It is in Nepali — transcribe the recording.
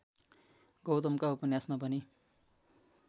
गौतमका उपन्यासमा पनि